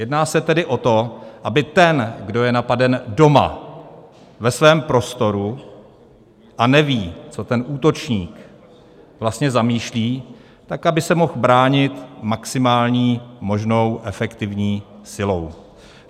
Jedná se tedy o to, aby ten, kdo je napaden doma ve svém prostoru a neví, co ten útočník vlastně zamýšlí, tak aby se mohl bránit maximální možnou efektivní silou.